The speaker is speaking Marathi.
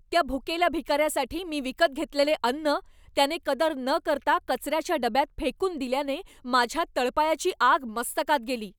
त्या भुकेल्या भिकाऱ्यासाठी मी विकत घेतलेले अन्न, त्याने कदर न करता कचऱ्याच्या डब्यात फेकून दिल्याने माझ्या तळपायाची आग मस्तकात गेली.